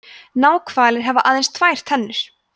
náhvalir hafa aðeins tvær tennur